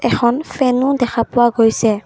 এখন ফেনো দেখা পোৱা গৈছে।